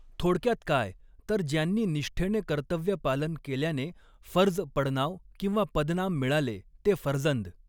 थोडक्यात काय तर ज्यांनी निष्ठेने कर्तव्य पालन केल्याने फर्ज पड़नाव किंवा पदनाम मिळाले ते फर्जंद.